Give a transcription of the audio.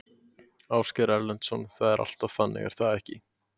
Ásgeir Erlendsson: Það er alltaf þannig er það ekki?